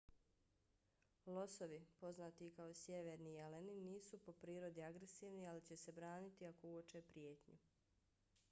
losovi poznati i kao sjeverni jeleni nisu po prirodi agresivni ali će se braniti ako uoče prijetnju